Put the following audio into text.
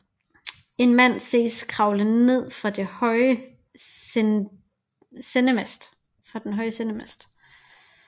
En mand ses kravle ned fra den høje sendemast